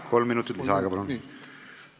Kolm minutit lisaaega, palun!